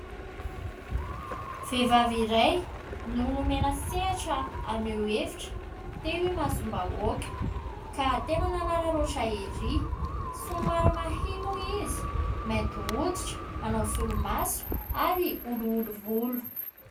Vehivavy iray no nomena sehatra haneho hevitra teo imasom-bahoaka ka tena nanaraotra erý. Somary mahia moa izy, mainty hoditra, manao solomaso ary olioly volo.